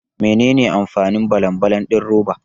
Menene amfanin balan balan din roba?